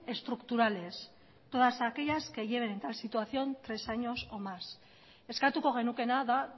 estructurales todas aquellas que lleven tal situación tres años o más eskatuko genukeena da